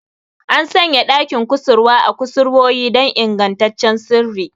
An sanya ɗakin kusurwa a kusurwoyi don ingantaccen sirri.